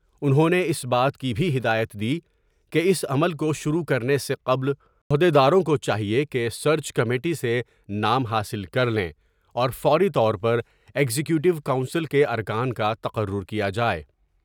انہوں نے اس بات کی بھی ہدایت دی کہ اس عمل کو شروع کرنے سے قبل عہد یداروں کو چاہئے کہ سرچ کمیٹی سے نام حاصل کر لیں اور فوری طور پر ایگزیکٹو کونسل کے ارکان کا تقرر کیا جاۓ ۔